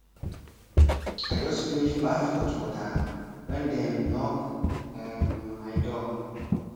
i just finish baff hot water when dem knock um my door